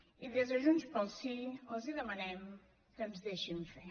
i des de junts pel sí els demanem que ens deixin fer